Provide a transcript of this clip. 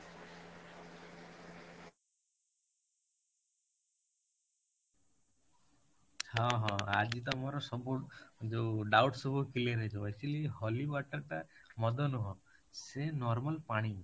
ହଁ, ହଁ ଆଜି ତମର ସବୁ ଯୋଉ doubt ସବୁ clear ହେଇଯିବ, actually holy water ଟା ମଦ ନୁହଁ ସେ normal ପାଣି